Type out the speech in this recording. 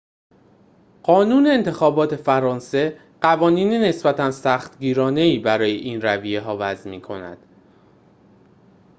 قانون انتخابات فرانسه قوانین نسبتاً سختگیرانه‌ای برای این رویه‌ها وضع می‌کند